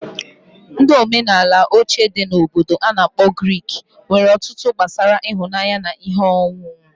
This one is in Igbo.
Ndi omenala oche ndi Obodo ana akpo Greek nwere otụtụ gbasara ịhụnanya na ihe onụnụ.